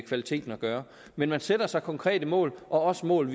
kvaliteten at gøre men man sætter sig konkrete mål også mål